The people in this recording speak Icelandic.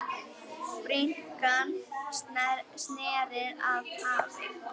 Bringan sneri að hafi.